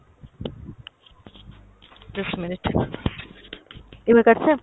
just a minute, এবার কাটছে?